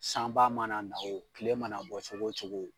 Sanba mana na o , tile mana bɔ cogo cogo